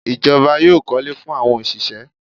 The government will build houses for the workers